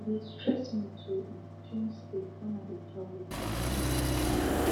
e dey stress me to um change sleep when i dey travel but i no get choice